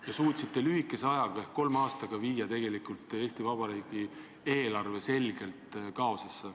Te suutsite lühikese ajaga ehk kolme aastaga viia tegelikult Eesti Vabariigi eelarve selgelt kaosesse.